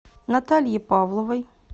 наталье павловой